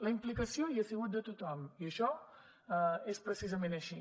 la implicació hi ha sigut de tothom i això és precisament així